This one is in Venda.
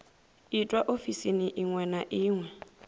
itwa ofisini iṅwe na iṅwe